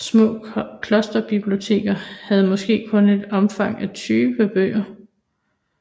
Små klosterbiblioteker havde måske kun et omfang af 20 bøger